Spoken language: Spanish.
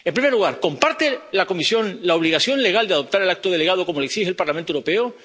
En primer lugar, ¿comparte la Comisión la obligación legal de adoptar el acto delegado como exige el Parlamento Europeo?